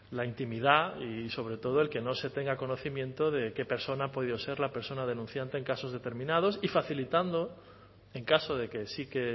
la intimidad y sobre todo el que no se tenga conocimiento de qué persona ha podido ser la persona denunciante en casos determinados y facilitando en caso de que sí que